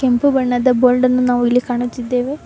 ಕೆಂಪು ಬಣ್ಣದ ಬೋರ್ಡ ನ್ನು ನಾವಿಲ್ಲಿ ಕಾಣುತ್ತಿದ್ದೇವೆ.